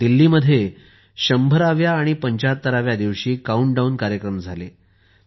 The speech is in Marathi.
जसे दिल्लीत 100 व्या आणि 75 व्या दिवशी काउंटडाउन कार्यक्रम झाले आहेत